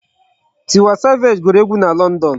Tiwa savage gụrụ egu na London.